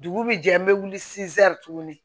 Dugu bi jɛ an bɛ wuli tuguni